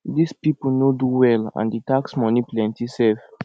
dis people no do well and the tax money plenty sef